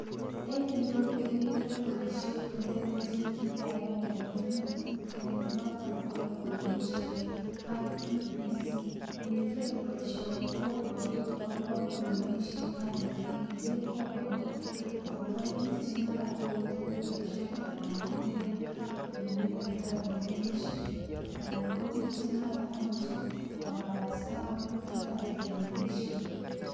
En yeu kegere boisiet ne telelelchin kiit agenge ne kiim en Kenya, noton ko lewenishiet IEBC. Iniger boisioni kobwatun agobo lewenishiet anan iniger kobwatun agobo biik che mara koite kuraishiek anan kogere ele wenditoi lewenishiet anan ko biik che mara komachei kobarasta walutik ab lewenishiet